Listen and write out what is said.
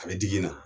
A bɛ digi na